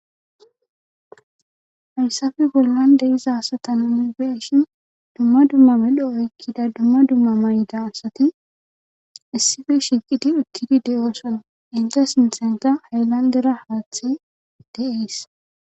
Hayssafi gollan deiza asatanani beshin dumma dumma medho oykkida dumma dummamayida asati issife shiiqidi uttidi de'oson inte sintenta haylandera haaththe deees.